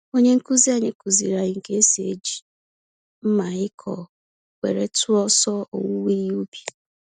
Onye nkuzi anyị kuziri anyị ka esi eji mmaịkọ were tụọ ọsọ owuwe ihe ubi.